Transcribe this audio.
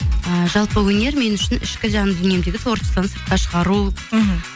ы жалпы өнер мен үшін ішкі жандүниемдегі творчествоны сыртқа шығару мхм